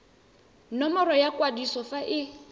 nomoro ya kwadiso fa e